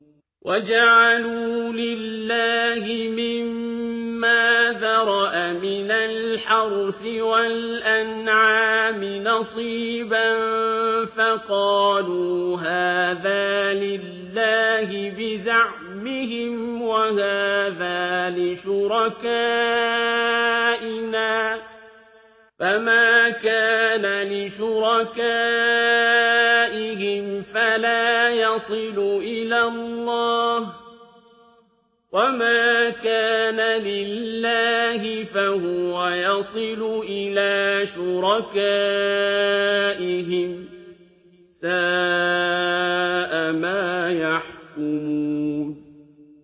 وَجَعَلُوا لِلَّهِ مِمَّا ذَرَأَ مِنَ الْحَرْثِ وَالْأَنْعَامِ نَصِيبًا فَقَالُوا هَٰذَا لِلَّهِ بِزَعْمِهِمْ وَهَٰذَا لِشُرَكَائِنَا ۖ فَمَا كَانَ لِشُرَكَائِهِمْ فَلَا يَصِلُ إِلَى اللَّهِ ۖ وَمَا كَانَ لِلَّهِ فَهُوَ يَصِلُ إِلَىٰ شُرَكَائِهِمْ ۗ سَاءَ مَا يَحْكُمُونَ